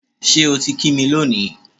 Ṣé o ti kí mi lónìí?